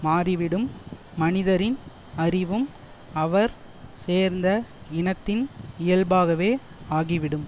மாறிவிடும் மனிதரின் அறிவும் அவர் சேர்ந்த இனத்தின் இயல்பாகவே ஆகிவிடும்